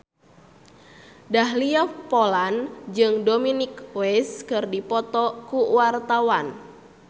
Dahlia Poland jeung Dominic West keur dipoto ku wartawan